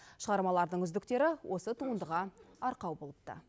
шығармалардың үздіктері осы туындыға арқау болыпты